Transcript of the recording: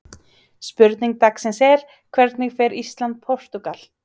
Spurning dagsins er: Hvernig fer Ísland- Portúgal?